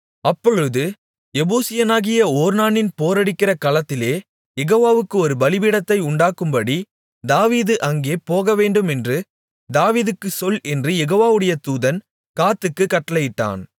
அப்பொழுது எபூசியனாகிய ஒர்னானின் போரடிக்கிற களத்திலே யெகோவாவுக்கு ஒரு பலிபீடத்தை உண்டாக்கும்படி தாவீது அங்கே போகவேண்டுமென்று தாவீதுக்குச் சொல் என்று யெகோவாவுடைய தூதன் காத்துக்குக் கட்டளையிட்டான்